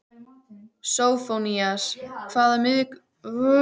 Sófónías, hvaða vikudagur er í dag?